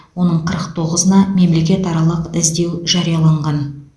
оның қырық тоғызына мемлекетаралық іздеу жарияланған